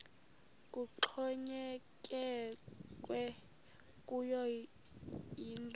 kuxhonyekekwe kuyo yinto